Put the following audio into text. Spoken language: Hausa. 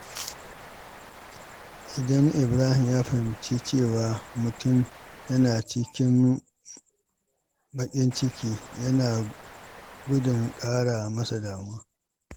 Idan Ibrahim ya fahimci cewa mutum yana cikin baƙin ciki, yana gudun ƙara masa damuwa.